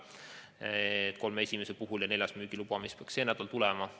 kolme esimest ja neljandat, mis peaks müügiloa saama sel nädalal.